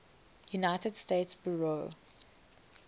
united states bureau